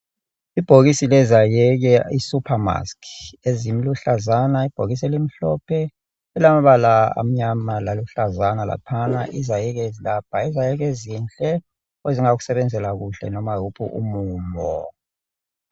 Ibhokisi lezayeke isupermask, eziluhlazana ibhokisi elimhlophe elilamabala amnyama laluhlazana laphana. Izayeke ezilapha, yizayeke ezinhle ezingakusebenzela kuhle loba yowuphi umumo.